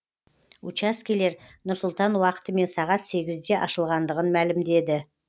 учаскелер нұр сұлтан уақытымен сағат сегізде ашылғандығын мәлімдеді